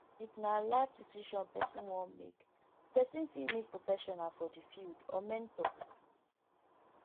if na life decision person wan make di person fit meet professional for di field or mentor